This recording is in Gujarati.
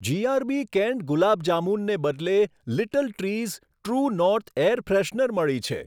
જીઆરબી કેન્ડ ગુલાબ જામુનને બદલે little trees true north air freshener મળી છે.